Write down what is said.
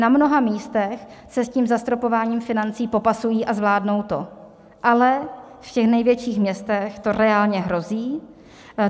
Na mnoha místech se s tím zastropováním financí popasují a zvládnou to, ale v těch největších městech to reálně hrozí.